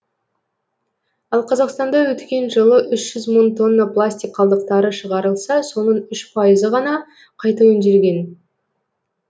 ал қазақстанда өткен жылы үш жүз мың тонна пластик қалдықтары шығарылса соның үш пайызы ғана қайта өңделген